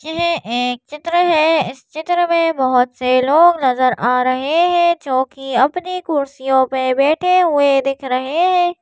यह एक चित्र है इस चित्र में बहुत से लोग नजर आ रहे हैं जो कि अपनी कुर्सियों पर बैठे हुए दिख रहे हैं।